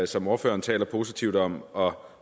som ordføreren taler positivt om og